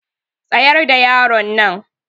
Tsayar da yaronnan.